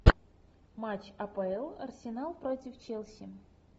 матч апл арсенал против челси